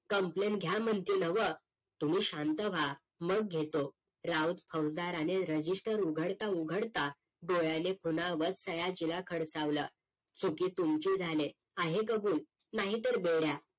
complain घ्या म्हणते हे ना व्ह तुम्ही शांत व्हा मग घेतो राऊत फौसदारने REGISTER उघडता उघडता डोळ्याने खुणावत सयाजीला खडकावलं चुकी तुमची झालीये आहे कबूल नाहीतर बेड्या